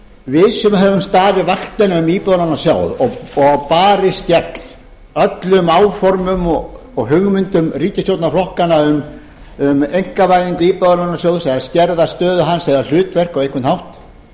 við sem höfum staðið vaktina um íbúðalánasjóð og barist gegn öllum áformum og hugmyndum ríkisstjórnarflokkanna um einkavæðingu íbúðalánasjóð eða skerða stöðu hans eða hlutverk á einhvern hátt